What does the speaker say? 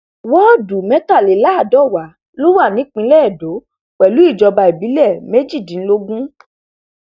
wọọdù mẹtàléláàdọwà ló wà nípìnlẹ edo pẹlú ìjọba ìbílẹ méjìdínlógún